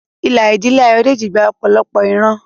Ìlà ìdílé Ayodele gba ọ̀pọ̀lọpọ̀ ìran.